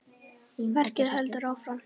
Verkið heldur áfram.